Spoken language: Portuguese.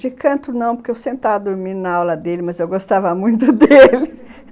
De canto, não, porque eu sentava dormindo na aula dele, mas eu gostava muito dele.